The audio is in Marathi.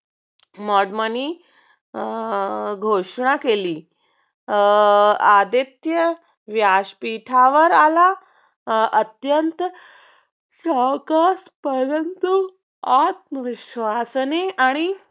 मदमाणीनि घोषणा केली. आदित्य व्यासपीठावर आला. अत्यंत सावकाश परंतु आत्मविश्वासाने